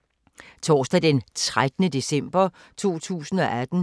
Torsdag d. 13. december 2018